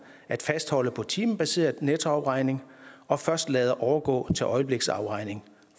at fastholde på timebaseret nettoafregning og først lader overgå til øjebliksafregning